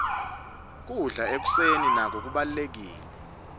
kudla ekuseni nako kubalulekile